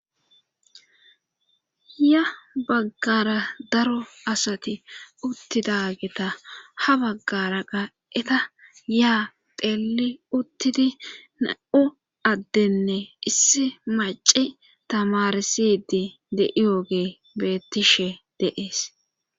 ya baggara daro asati uttidageta ha baggara qaa7eta yaa teli uttidi na7u addenne issi maci tamarsidi de7iyoge bettishe de7ees